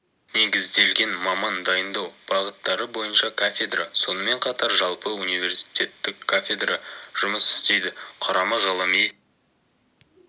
негізделген маман дайындау бағыттары бойынша кафедра сонымен қатар жалпы университтеттік кафедра жұмыс істейді құрамы ғылыми